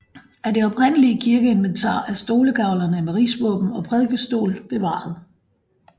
Af det oprindelige kirkeinventar er stolegavlene med rigsvåben og prædikestol bevaret